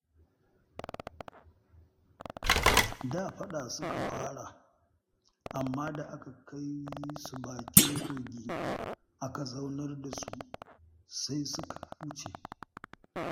Da faɗa suka fara, amma da aka kai su bakin kogi, aka zaunar da su, sai suka huce